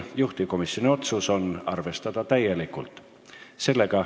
Juhtivkomisjoni otsus on seda arvestada täielikult.